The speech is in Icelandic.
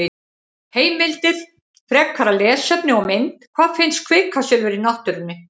Heimildir, frekara lesefni og mynd: Hvar finnst kvikasilfur í náttúrunni?